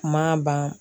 Kuma ban